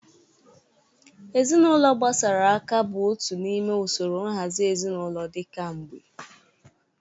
Ezinaụlọ gbasara aka bụ otu n'ime usoro nhazi ezinụlọ dị ka mgbe.